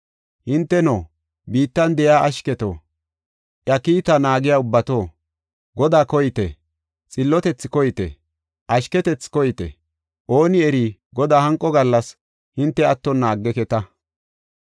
Hinteno, biittan de7iya ashketo, iya kiita naagiya ubbato, Godaa koyte; xillotethaa koyte; ashketethi koyte. Ooni eri Godaa hanqo gallas hinte attonna aggeketa.